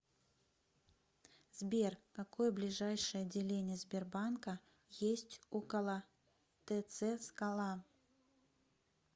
сбер какое ближайшее отделение сбербанка есть около тц скала